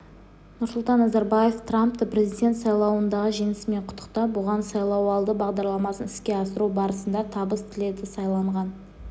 нұрсұлтан назарбаев трампты президент сайлауындағы жеңісімен құттықтап оған сайлауалды бағдарламасын іске асыру барысында табыс тіледі сайланған